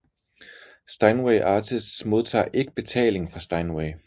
Steinway Artists modtager ikke betaling fra Steinway